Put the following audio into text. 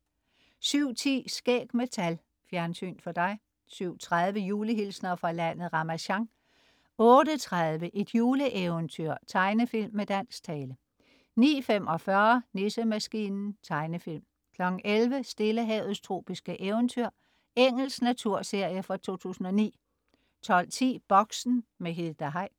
07.10 Skæg med tal. Fjernsyn for dig 07.30 Julehilsner fra landet Ramasjang 08.30 Et juleeventyr. Tegnefilm med dansk tale 09.45 Nissemaskinen. Tegnefilm 11.00 Stillehavets tropiske eventyr. Engelsk naturserie fra 2009 12.10 Boxen. Hilda Heick